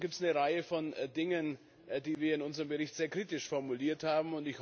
Und so gibt es eine Reihe von Dingen, die wir in unserem Bericht sehr kritisch formuliert haben.